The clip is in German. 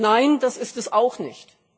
Nein, das ist es auch nicht.